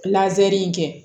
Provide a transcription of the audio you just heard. Lajɛli in kɛ